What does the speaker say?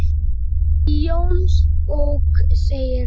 Í Jónsbók segir